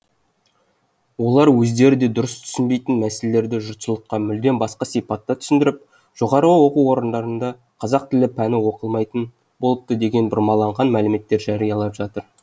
олар өздері де дұрыс түсінбейтін мәселелерді жұртшылыққа мүлдем басқа сипатта түсіндіріп жоғары оқу орындарында қазақ тілі пәні оқытылмайтын болыпты деген бұрмаланған мәліметтер жариялап жатыр